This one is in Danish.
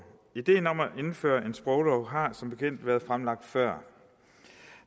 ideen om at indføre en sproglov har som bekendt været fremlagt før